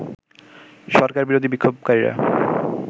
সরকারবিরোধী বিক্ষোভকারীরা